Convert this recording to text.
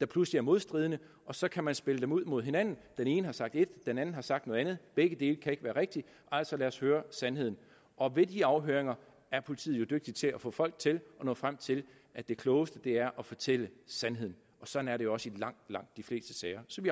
der pludselig er modstridende og så kan man spille dem ud mod hinanden den ene har sagt et den anden har sagt noget andet og begge dele kan ikke være rigtigt så lad os høre sandheden og ved de afhøringer er politiet jo dygtige til at få folk til at nå frem til at det klogeste er at fortælle sandheden og sådan er det jo også i langt langt de fleste sager så vi